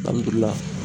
Alihamudulila